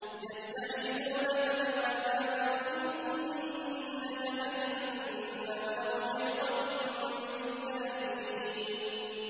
يَسْتَعْجِلُونَكَ بِالْعَذَابِ وَإِنَّ جَهَنَّمَ لَمُحِيطَةٌ بِالْكَافِرِينَ